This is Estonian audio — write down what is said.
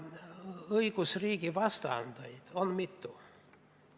Õigusriigi vastandeid on mitu.